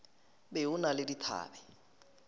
be o na le dithabe